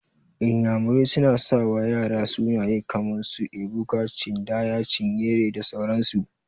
Iyamurai suna sawa ƴara sunaye kaman su, Ebuka, Chindaya, Chinyere da sauran su.